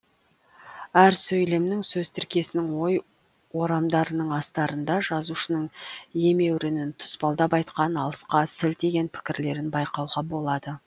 әр сөйлемнің сөз тіркесінің ой орамдарының астарында жазушының емеурінін тұспалдап айтқан алысқа сілтеген пікірлерін байқауға болады